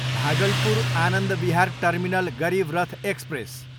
Bhagalpur, Anand Vihar terminal Garib Rath express